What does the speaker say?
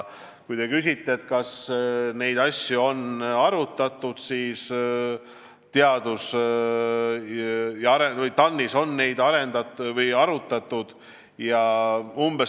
Kui te küsite, kas neid asju on arutatud, siis TAN-is on neid arutatud.